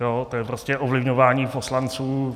To je prostě ovlivňování poslanců.